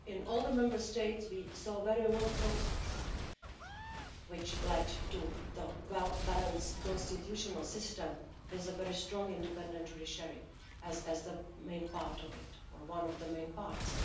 In all the Member States we saw a very long process which led to the well balanced constitutional system, with a very strong independent judiciary as the main part of it, or one of the main parts.